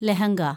lehenga